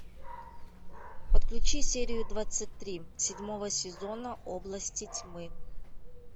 подключи серию двадцать три седьмого сезона области тьмы